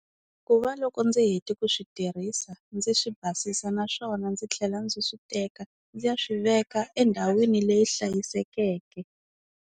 Ku va loko ndzi hete ku swi tirhisa ndzi swi basisa, naswona ndzi tlhela ndzi swi teka ndzi ya swi veka endhawini leyi hlayisekeke.